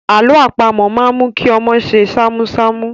Àlọ́ àpamọ̀ máa ń mú kí ọmọ ṣe ṣámúṣámú.